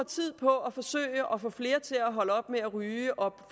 tiden på at forsøge at få flere til at holde op med at ryge og